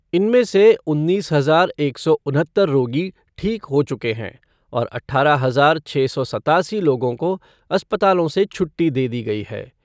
इनमें से उन्नीस हजार एक सौ उनहत्तर रोगी ठीक हो चुके हैं और अठारह हजार छः सौ सत्तासी लोगों को अस्पतालों से छुट्टी दे दी गई है।